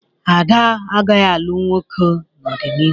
Ada agaghị alụ nwoke n'ọdịnihu.